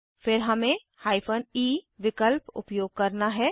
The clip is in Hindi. फिर हमें हाइफन ई विकल्प उपयोग करना है